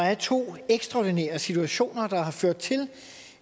er to ekstraordinære situationer der har ført til